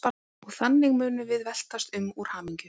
Og þannig munum við veltast um úr hamingju.